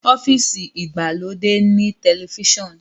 ọ́fíìsì igbalode ní Tẹlifíṣàn